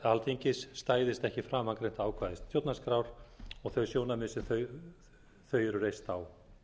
alþingis stæðist ekki framangreind ákvæði stjórnarskrár og þau sjónarmið sem þau eru reist á